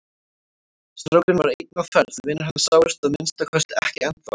Strákurinn var einn á ferð, vinir hans sáust að minnsta kosti ekki ennþá.